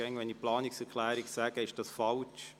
Jedes Mal, wenn ich Planungserklärung sage, ist das falsch.